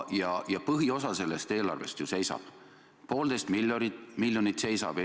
Aga põhiosa sellest eelarvest ju seisab – poolteist miljardit seisab!